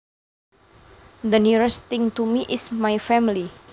The nearest thing to me is my family